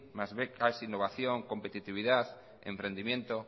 más becas innovación competitividad emprendimiento